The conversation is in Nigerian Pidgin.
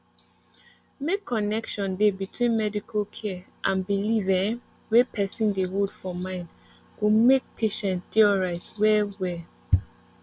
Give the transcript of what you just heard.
make connection dey between medical care and belief ehh wey person dey hold for mind go make patient dey alright well well